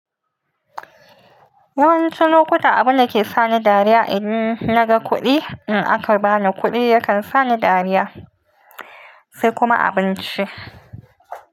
Wasu lokuta abu da ke sani dariya idan naga kuɗi, in aka bani kuɗi yakan sani dariya sai kuma abinci.